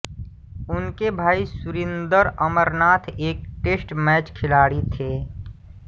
उनके भाई सुरिंदर अमरनाथ एक टेस्ट मैच खिलाड़ी थे